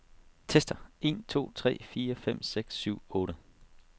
Tester en to tre fire fem seks syv otte.